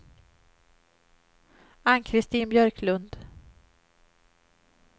Ann-Christin Björklund